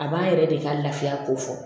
A b'a yɛrɛ de ka lafiya ko fɔ